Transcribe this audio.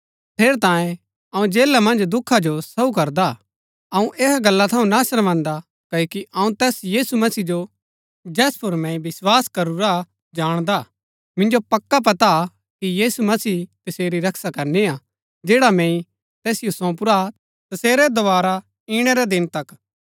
ठेरैतांये अऊँ जेला मन्ज दुखा जो सहू करदा हा अऊँ ऐहा गल्ला थऊँ ना शर्मान्दा क्ओकि अऊँ तैस यीशु मसीह जो जैस पुर मैंई विस्वास करूरा जाणदा मिन्जो पक्का पता हा कि यीशु मसीह तसेरी रक्षा करनी हा जैड़ा मैंई तैसिओ सौंपुरा हा तसेरै दोवारा इणै रै दिन तक